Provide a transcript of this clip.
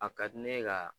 A ka di ne ye ka